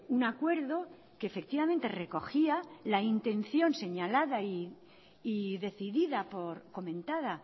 un acuerdo que efectivamente recogía la intención señalada y decidida por comentada